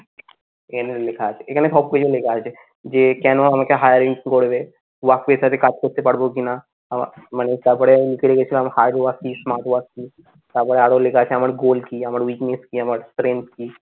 এখানে সব কিছু লেখা আছে. যে কেন আমাকে hiring করবে work pressure সাথে কাজ করতে পারবো কিনা মানে তারপরে লিখে রেখেছিলাম hard work কি smart work কি তারপরে আরো লেখা আছে আমার goal কি আমার weakness কি, আমার strength কি?